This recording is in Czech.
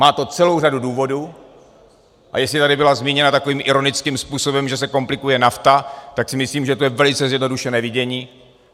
Má to celou řadu důvodů, a jestli tady bylo zmíněno takovým ironickým způsobem, že se komplikuje NAFTA, tak si myslím, že to je velice zjednodušené vidění.